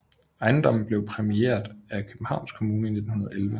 Ejendommen blev præmieret af Københavns Kommune i 1911